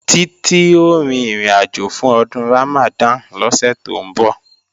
Títí ó rin ìrìnàjò fún Ọdún Ramadan lọ́sẹ̀ tó ń bọ̀